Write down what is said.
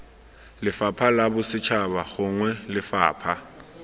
lefapha la bosetšhaba gongwe lefapha